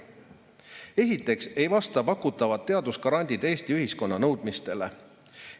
Esiteks ei vasta pakutavad teadusgrandid Eesti ühiskonna nõudmistele.